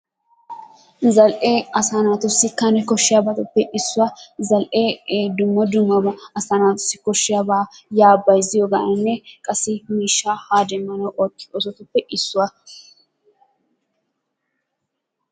Zal"ee asaa naatussi Kane koshshiyabatuppe issuwa. Zal"ee ee dumma dummabaa asaa naatussi koshiyaaba yaa bayzziyoganne qassi miishshaa ha demmanawu ootiyo oosotuppe issuwa.